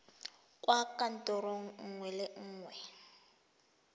kwa kantorong nngwe le nngwe